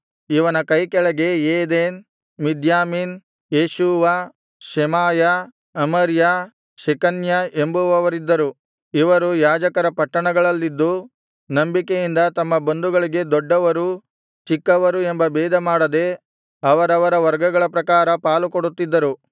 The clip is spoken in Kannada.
ಇವನ ಕೈಕೆಳಗೆ Eden Miniamin Jeshua Shemaiah Amariah Shecaniah ಎಂಬುವವರಿದ್ದರು ಇವರು ಯಾಜಕರ ಪಟ್ಟಣಗಳಲ್ಲಿದ್ದು ನಂಬಿಕೆಯಿಂದ ತಮ್ಮ ಬಂಧುಗಳಿಗೆ ದೊಡ್ಡವರು ಚಿಕ್ಕವರು ಎಂಬ ಭೇದಮಾಡದೆ ಅವರವರ ವರ್ಗಗಳ ಪ್ರಕಾರ ಪಾಲುಕೊಡುತ್ತಿದ್ದರು